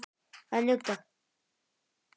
Að njóta.